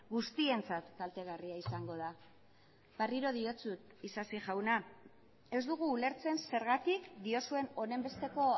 guztientzat kaltegarria izango da berriro diotsut isasi jauna ez dugu ulertzen zergatik diozuen honenbesteko